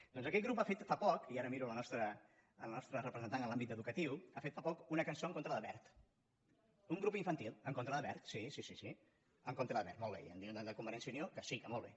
doncs aquest grup ha fet fa poc i ara miro la nostra representant en l’àmbit educatiu una cançó en contra de wert un grup infantil en contra de wert sí sí en contra de wert molt bé i em diuen de convergència i unió que sí que molt bé